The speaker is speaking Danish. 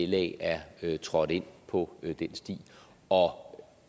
la er trådt ind på den sti og